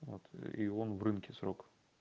вот и он в рынке срок